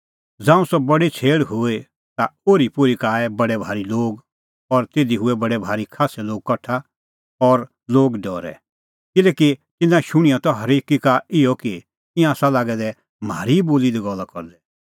ज़ांऊं सह बडी छ़ेल़ हुई ता ओरीपोरी का आऐ बडै भारी लोग और तिधी हूऐ बडै भारी खास्सै लोग कठा और लोग डरै किल्हैकि तिन्नां शुणिआं त हरेकी का इहअ कि ईंयां आसा लागै दै म्हारी ई बोली दी गल्ला करदै